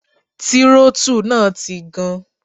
Tírótù náà ti gan.